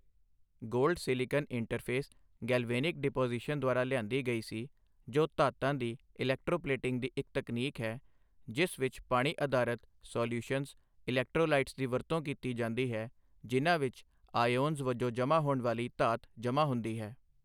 Gold silicon interface galvanic deposition ਦੁਆਰਾ ਲਿਆਂਦੀ ਗਈ ਸੀ, ਜੋ ਧਾਤਾਂ ਦੀ ਇਲੈਕਟ੍ਰੋਪਲੇਟਿੰਗ ਦੀ ਇੱਕ ਤਕਨੀਕ ਹੈ, ਜਿਸ ਵਿੱਚ ਪਾਣੀ ਅਧਾਰਿਤ ਸਾਲਿਯੂਸ਼ਨਜ਼ ਇਲੈਕਟ੍ਰੋਲਾਈਟਸ ਦੀ ਵਰਤੋਂ ਕੀਤੀ ਜਾਂਦੀ ਹੈ, ਜਿਨ੍ਹਾਂ ਵਿੱਚ ਆਇਓਨਜ਼ ਵਜੋਂ ਜਮ੍ਹਾ ਹੋਣ ਵਾਲੀ ਧਾਤ ਜਮ੍ਹਾ ਹੁੰਦੀ ਹੈ।